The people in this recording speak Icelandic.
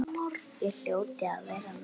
Ég hljóti að vera norn.